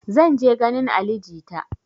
Zan je ganin ali jita